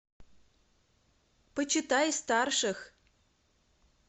почитай старших